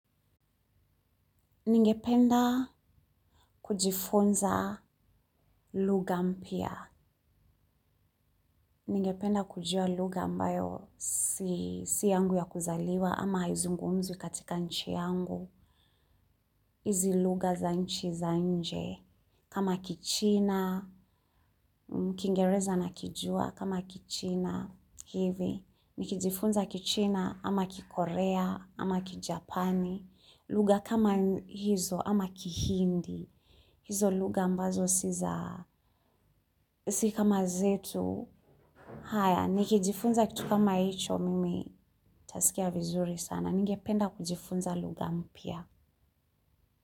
Ningependa kujifunza lugha mpya. Ningependa kujua lugha ambayo si yangu ya kuzaliwa ama haizungumzwi katika nchi yangu. hizi lugha za nchi za nje. Kama kichina, kingereza nakijua kama kichina hivi. Nikijifunza kichina ama kikorea ama kijapani. Lugha kama hizo ama kihindi. Hizo lugha ambazo si za si kama zetu haya, nikijifunza kitu kama hicho, mimi tasikia vizuri sana, ningependa kujifunza lugha mpya.